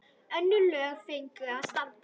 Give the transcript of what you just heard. Önnur lög fengju að standa.